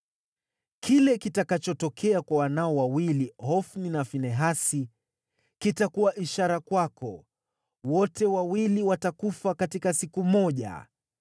“ ‘Kile kitakachotokea kwa wanao wawili, Hofni na Finehasi, kitakuwa ishara kwako. Wote wawili watakufa katika siku moja.